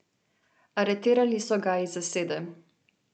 Aretirali so ga iz zasede.